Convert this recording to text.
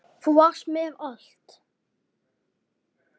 Þú varst mér allt.